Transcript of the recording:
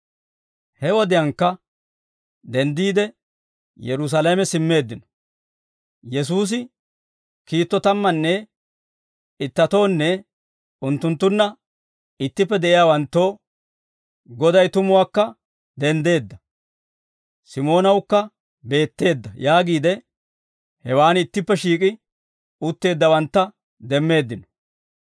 He wodiyaankka denddiide Yerusaalame simmeeddino. Yesuusi kiitto tammanne ittatoonne unttunttunna ittippe de'iyaawanttoo, «Goday tumuwaakka denddeedda, Simoonawukka beetteedda» yaagiide hewaan ittippe shiik'i utteeddawantta demmeeddino.